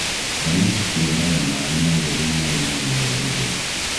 Thamaki ciendaga maaĩ matheru marĩ na rĩera rĩtheru.